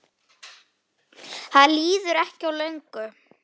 Það líður ekki á löngu.